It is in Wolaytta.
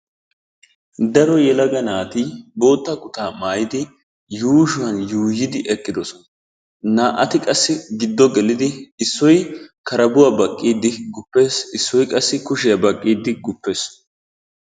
Daro yelaga naati bootta kutaa maayidi yuushsuwaan yuuyidi eqqidoosona. Na"ati qassi giddo gelidi issoy karabuwaa baaqqidi guppees issoy qassi kushshiyaa baaqqiidi guppees.